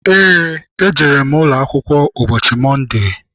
Eé, ejere m akwụkwọ ụbọchị Mọnde.